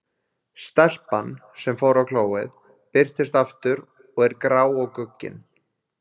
Stelpan, sem fór á klóið, birtist aftur og er grá og guggin.